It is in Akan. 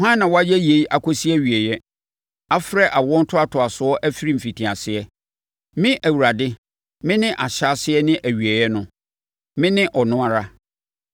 Hwan na wayɛ yei akɔsi awieeɛ, afrɛ awoɔ ntoatoasoɔ afiri mfitiaseɛ? Me Awurade, mene Ahyɛaseɛ ne Awieeɛ no. Mene ɔno ara.”